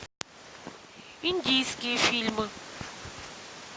индийские фильмы